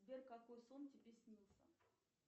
сбер какой сон тебе снился